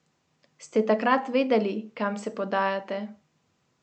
Ste takrat vedeli, kam se podajate?